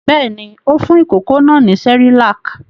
Bẹ́ẹ̀ ni, ó fún ìkókó náà ní Cerelac.